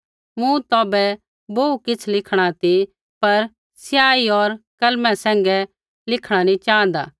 मूँ तौभै बोहू किछ़ लिखणा ती पर स्याही होर कलमा सैंघै लिखणा नी च़ाँहदा